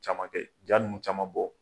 caman kɛ ja ninnu caman bɔ.